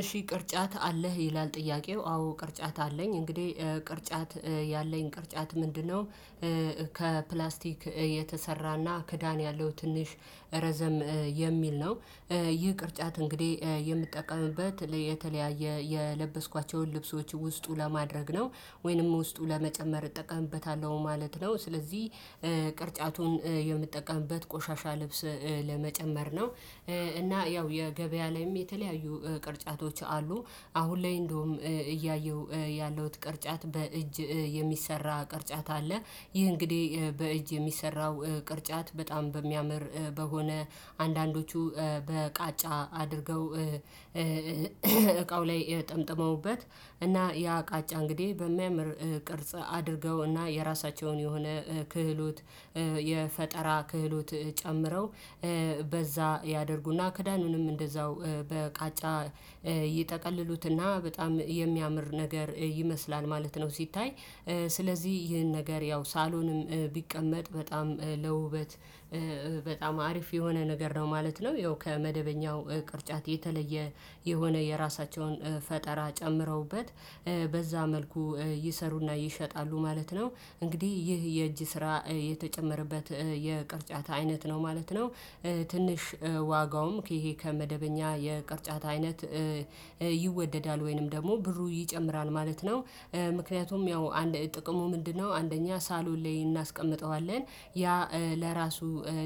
እሺ ቅርጫት አለህ ይላል ጥያቄው አዎ ቅርጫት አለኝ እንግዲህ ቅርጫት ያለኝ ቅርጫት ምንድነው? ከፕላስቲክ የተሰራና ክዳን ያለው ትንሽ ረዘም የሚል ነው። ይህ ቅርጫት እንግዲህ የምጠቀምበት የተለያየ የለበስኳቸውን ልብሶች ውስጡ ለማድረግ ነው ወይንም ውስጡ ለመጨመር እጠቀምበታለሁ ማለት ነው። ስለዚህ ቅርጫቱን የምጠቀምበት ቆሻሻ ልብስ ለመጨመር ነው። እና ያው የገበያ ላይም የተለያዩ ቅርጫቶች አሉ። አሁን ላይ እንደውም እያየሁ ያለሁት ቅርጫት በእጅ የሚሰራ ቅርጫት አለ። ይህ እንግዲህ በእጅ የሚሰራው ቅርጫት በጣም በሚያምር በሆነ አንዳንዶቹ በቃጫ አድርገው እቃው ላይ ጠምጥመውበት እና ያ ቃጫ እንግዲህ በሚያምር ቅርጽ አድርገውና የራሳቸውን የሆነ ክህሎት የፈጠራ ክህሎት ጨምረው በዛ ያደርጉና ክዳኑንም እንደዛው በቃጫ ይጠቅልሉትና በጣም የሚያምር ነገር ይመስላል ማለት ነው። ሲታይ ስለዚህ ይህን ነገር ያው ሳሎንም ቢቀመጥ በጣም ለውበት በጣም አሪፍ የሆነ ነገር ነው ማለት ነው። ያው ከመደበኛው ቅርጫት የተለየ የሆነ የራሳቸውን ፈጠራ ጨምረውበት በዛ መልኩ ይሰሩና ይሸጣሉ ማለት ነው። እንግዲህ ይህ የእጅ ስራ የተጨመረበት የቅርጫት አይነት ነው ማለት ነው። ትንሽ ዋጋውም ይሄ ከመደበኛ የቅርጫት አይነት ይወደዳል ወይንም ደግሞ ብሩ ይጨምራል ማለት ነው። ምክንያቱም ያው አንድ ጥቅሙ ምንድነው? አንደኛ ሳሎን ላይ እናስቀምጠዋለን ያ ለራሱ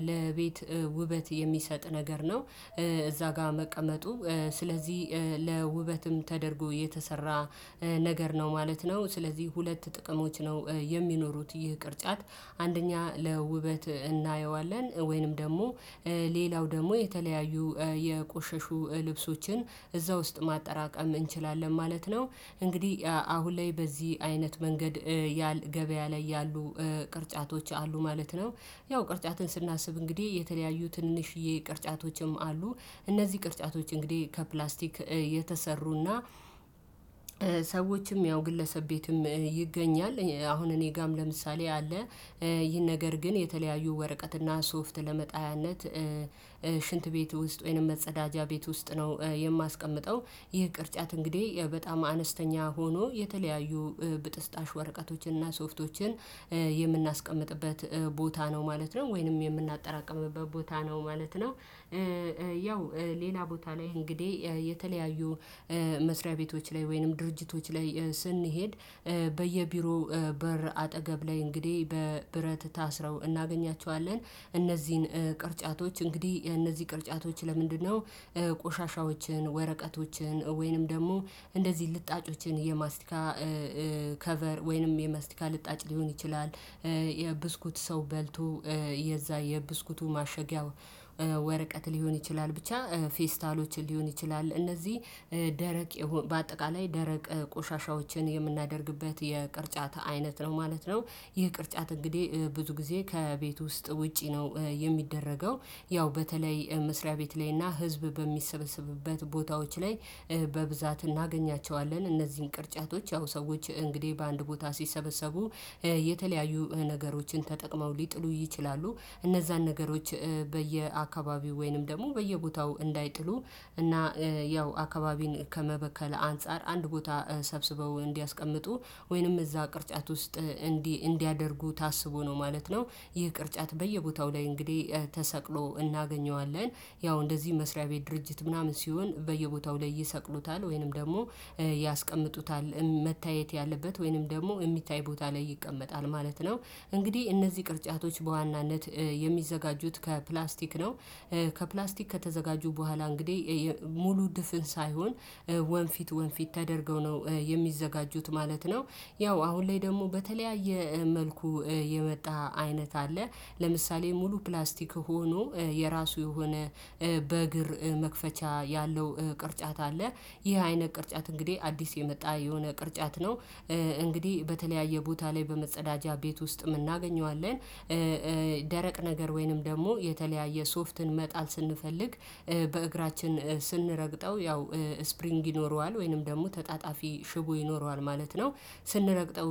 ለቤት ውበት የሚሰጥ ነገር ነው። እዛ ጋር መቀመጡ ስለዚህ ለውበትም ተደርጎ የተሰራ ነገር ነው ማለት ነው። ስለዚህ ሁለት ጥቅሞች ነው። የሚኖሩት ይህ ቅርጫት አንደኛ ለውበት እናየዋለን ወይንም ደግሞ ሌላው ደግሞ የተለያዩ የቆሸሹ ልብሶችን እዛ ውስጥ ማጠራቀም እንችላለን ማለት ነው። እንግዲህ አሁን ላይ በዚህ አይነት መንገድ ያል ገበያ ላይ ያሉ ቅርጫቶች አሉ ማለት ነው። ያው ቅርጫትን ስናስብ እንግዲህ የተለያዩ ትንንሽዬ ቅርጫቶችም አሉ። እነዚህ ቅርጫቶች እንግዲህ ከፕላስቲክ የተሰሩና ሰዎችም ያው ግለሰብ ቤትም ይገኛል አሁን እኔ ጋም ለምሳሌ አለ። ይህን ነገር ግን የተለያዩ ወረቀትና ሶፍት ለመጣያነት ሽንት ቤት ውስጥ ወይንም መጸዳጃ ቤት ውስጥ ነው። የማስቀምጠው ይህ ቅርጫት እንግዲህ በጣም አነስተኛ ሆኖ የተለያዩ ብጥስጣሽ ወረቀቶችን እና ሶፍቶችን የምናስቀምጥበት ቦታ ነው ማለት ነው። ወይንም የምናጠራቅምበት ቦታ ነው ማለት ነው። ያው ሌላ ቦታ ላይ እንግዲህ የተለያዩ መስሪያ ቤቶች ላይ ወይንም ድርጅቶች ላይ ስንሄድ በየቢሮው በር አጠገብ ላይ እንግዲህ በብረት ታስረው እናገኛቸዋለን። እነዚህን ቅርጫቶች እንግዲህ እነዚህ ቅርጫቶች ለምንድነው? ቆሻሻዎችን ወረቀቶችን ወይንም ደግሞ እንደዚህ ልጣጮችን የማስቲካ ከቨር ወይንም የማስቲካ ልጣጭ ሊሆን ይችላል። የብስኩት ሰው በልቶ የዛ የብስኩቱ ማሸጊያ ወረቀት ሊሆን ይችላል ብቻ ፌስታሎችን ሊሆን ይችላል እነዚህ ደረቅ በአጠቃላይ ደረቅ ቆሻሻዎችን የምናደርግበት የቅርጫት አይነት ነው ማለት ነው። ይህ ቅርጫት እንግዲህ ብዙ ጊዜ ከቤት ውስጥ ውጪ ነው የሚደረገው ያው በተለይ መስሪያ ቤት ላይ እና ህዝብ በሚሰበስብበት ቦታዎች ላይ በብዛት እናገኛቸዋለን። እነዚህን ቅርጫቶች ያው ሰዎች እንግዲህ በአንድ ቦታ ሲሰበሰቡ የተለያዩ ነገሮችን ተጠቅመው ሊጥሉ ይችላሉ። እነዛን ነገሮች በየአካባቢው ወይንም ደግሞ በየቦታው እንዳይጥሉ እና ያው አካባቢን ከመበከል አንፃር አንድ ቦታ ሰብስበው እንዲያስቀምጡ ወይንም እዛ ቅርጫት ውስጥ እንዲያደርጉ ታስቦ ነው ማለት ነው። ይህ ቅርጫት በየቦታው ላይ እንግዲህ ተሰቅሎ እናገኘዋለን። ያው እንደዚህ መስሪያ ቤት ድርጅት ምናምን ሲሆን በየቦታው ላይ ይሰቅሉታል ወይንም ደግሞ ያስቀምጡታል መታየት ያለበት ወይንም ደግሞ የሚታይ ቦታ ላይ ይቀመጣል ማለት ነው። እንግዲህ እነዚህ ቅርጫቶች በዋናነት የሚዘጋጁት ከፕላስቲክ ነው። ከፕላስቲክ ከተዘጋጁ በኋላ እንግዲህ ሙሉ ድፍን ሳይሆን ወንፊት ወንፊት ተደርገው ነው የሚዘጋጁት ማለት ነው። ያው አሁን ላይ ደግሞ በተለያየ መልኩ የመጣ አይነት አለ። ለምሳሌ ሙሉ ፕላስቲክ ሆኖ የራሱ የሆነ በእግር መክፈቻ ያለው ቅርጫት አለ። ይህ አይነት ቅርጫት እንግዲህ አዲስ የመጣ የሆነ ቅርጫት ነው። እንግዲህ በተለያየ ቦታ ላይ በመጸዳጃ ቤት ውስጥ እናገኘዋለን። ደረቅ ነገር ወይንም ደግሞ የተለያየ ሶፍትን መጣል ስንፈልግ በእግራችን ስንረግጠው ያው ስፕሪንግ ይኖረዋል ወይንም ደግሞ ተጣጣፊ ሽቦ ይኖረዋል ማለት ነው። ስንረግጠው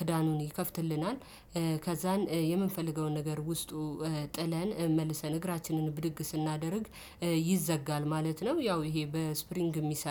ክዳኑን ይከፍትልናል ከዛን የምንፈልገውን ነገር ውስጡ ጥለን መልሰን እግራችንን ብድግ ስናደርግ ይዘጋል ማለት ነው። ያው ይሄ በስፕሪንግ የሚሰራ